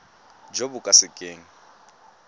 jo bo ka se keng